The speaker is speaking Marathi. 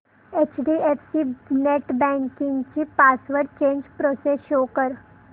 एचडीएफसी नेटबँकिंग ची पासवर्ड चेंज प्रोसेस शो कर